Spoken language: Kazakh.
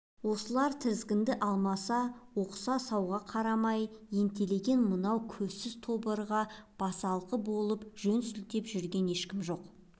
осылар тізгінді алмаса отқа-суға қарамай ентелеген мынау көзсіз тобырға басалқы болып жөн сілтеп жүрген ешкім жоқ